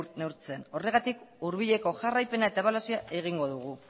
neurtzen horregatik hurbileko jarraipena eta ebaluazioa egingo dugu